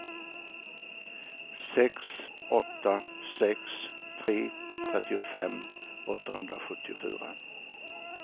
sex åtta sex tre trettiofem åttahundrasjuttiofyra